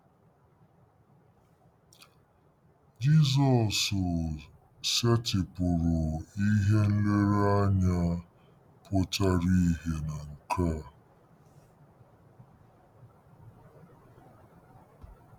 Jizọs setịpụrụ ihe nlereanya pụtara ìhè na nke a.